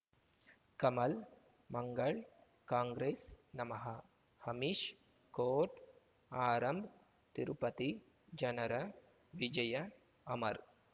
ಕಮಲ್ ಮಂಗಳ್ ಕಾಂಗ್ರೆಸ್ ನಮಃ ಅಮಿಷ್ ಕೋರ್ಟ್ ಆರಂಭ್ ತಿರುಪತಿ ಜನರ ವಿಜಯ ಅಮರ್